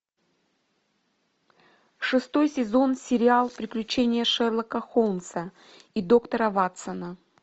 шестой сезон сериал приключения шерлока холмса и доктора ватсона